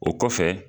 O kɔfɛ